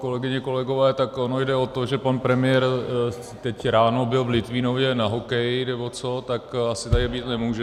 Kolegyně, kolegové, tak ono jde o to, že pan premiér teď ráno byl v Litvínově na hokeji nebo co, tak asi tady být nemůže.